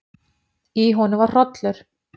Í honum var hrollur.